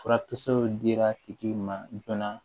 Furakisɛw dira tigi ma joona